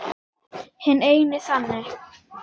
Hinn eini sanni!